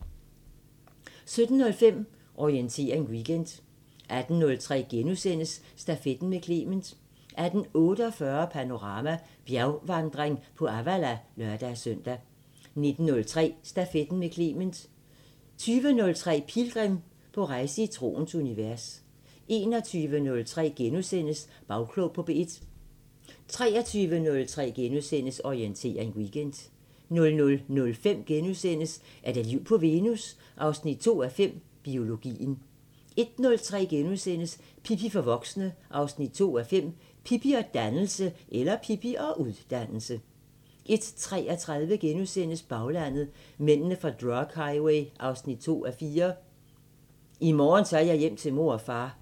17:05: Orientering Weekend 18:03: Stafetten med Clement * 18:48: Panorama: Bjergvandring på Avala (lør-søn) 19:03: Stafetten med Clement 20:03: Pilgrim – på rejse i troens univers 21:03: Bagklog på P1 * 23:03: Orientering Weekend * 00:05: Er der liv på Venus? 2:5 – Biologien * 01:03: Pippi for voksne 2:5 – Pippi og (ud)dannelse * 01:33: Baglandet: Mændene fra drug highway 2:4 – "I morgen tager jeg hjem til mor og far"